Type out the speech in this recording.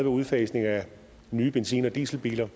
udfasningen af nye benzin og dieselbiler